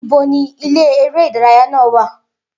Ibo ni ilé eré ìdárayá náà wà?